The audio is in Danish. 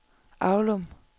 Avlum